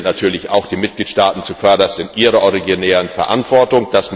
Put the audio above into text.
Hier sind natürlich auch die Mitgliedstaaten zuvörderst in ihrer originären Verantwortung.